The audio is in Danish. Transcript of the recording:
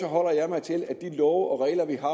holder jeg mig til at de love og regler vi har